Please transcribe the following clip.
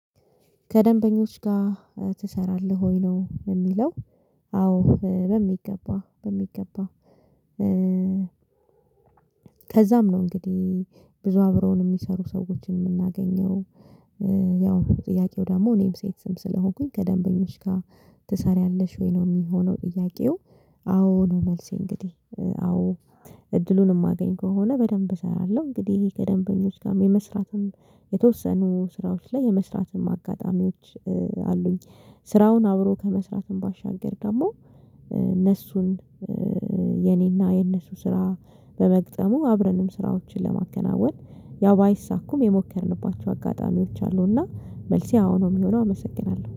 ከደንበኞች ጋ ትሰራለህ ወይ ነው የሚለው? አዎ በሚገባ በሚገባ። ከዛም ነው እንግዲህ ብዙ አብረውን ሚሰሩ ሰዎችን ምናገኘው። ያው ጥያቄው ደግሞ እኔም ሴትም ስለሆንኩኝ ከደንበኞች ጋር ትሰሪያለሽ ወይ ነው ሚሆነው ጥያቄው? አዎ ነው መልሴ እንግዲህ አዎ እድሉን ማገኝ ከሆነ በደንብ እሰራለሁ። እንግዲህ ከደንበኞች ጋም የመስራትም የተወሰኑ ስራዎች ላይ የመስራትም አጋጣሚዎች አሉኝ። ስራውን አብሮ ከመስራትም ባሻገር ደግሞ እነሱን የኔና የነሱ ስራ በመግጠሙ አብረንም ስራዎችን ለማከናወን ያው ባይሳኩም የሞከርንባቸው አጋጣሚዎች አሉና መልሴ አወ ነው። ሚሆነው አመሰግናለሁ